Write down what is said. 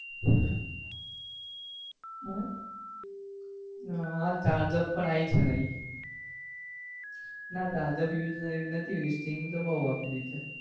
હા charge up પણ આવી છે નવી ના charge up તો નથી પીધી string તો બઉ વાર પીધી છે